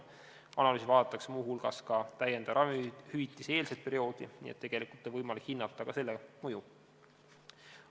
Analüüsis vaadatakse muu hulgas täiendava ravimihüvitise eelset perioodi, nii et tegelikult on võimalik hinnata ka selle mõju.